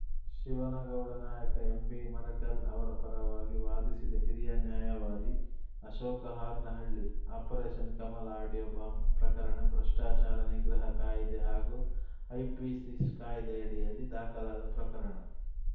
ಶಿವನಗೌಡ ನಾಯಕ ಎಂಬಿಮರಕಲ್‌ ಅವರ ಪರವಾಗಿ ವಾದಿಸಿದ ಹಿರಿಯ ನ್ಯಾಯವಾದಿ Ashok Haranahalli operation Kamala audio bomb ಪ್ರಕರಣ ಭ್ರಷ್ಟಾಚಾರ ನಿಗ್ರಹ ಕಾಯಿದೆ ಹಾಗೂ ಐಪಿಸಿ ಸ್ಸಿ ಕಾಯಿದೆಯಡಿಯಲ್ಲಿ ದಾಖಲಾದ ಪ್ರಕರಣ